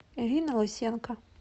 ирина лысенко